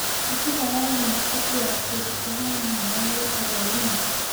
Mĩkiha ya lymph ĩkuaga kĩndũ kĩhana maĩ gĩtagwo lymph.